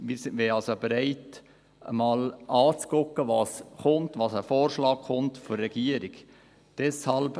Wir wären also bereit, uns einmal anzuschauen, was als Vorschlag von der Regierung kommt.